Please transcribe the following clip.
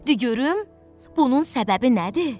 Di görüm bunun səbəbi nədir?